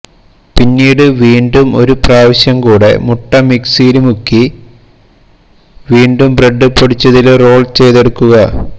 പിന്നീട് വീണ്ടും ഒരു പ്രാവശ്യം കൂടെ മുട്ട മിക്സിയില് മുക്കി വീണ്ടും ബ്രഡ് പൊടിച്ചതില് റോള് ചെയ്തെടുക്കുക